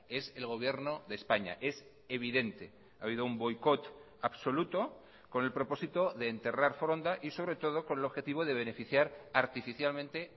es el gobierno de españa es evidente ha habido un boicot absoluto con el propósito de enterrar foronda y sobretodo con el objetivo de beneficiar artificialmente